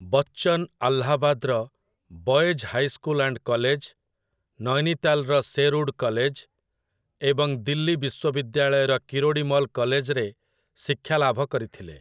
ବଚ୍ଚନ ଆହ୍ଲାବାଦର 'boys high school and college', ନୈନୀତାଲ୍‌ର 'Sherwood college' ଏବଂ ଦିଲ୍ଲୀ ବିଶ୍ୱବିଦ୍ୟାଳୟର କିରୋଡ଼ୀମଲ କଲେଜ୍‌ରେ ଶିକ୍ଷାଲାଭ କରିଥିଲେ।